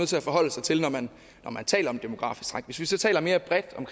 til at forholde sig til når man taler om demografisk træk hvis vi så taler mere bredt om